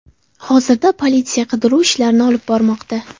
Hozirda politsiya qidiruv ishlarini olib bormoqda.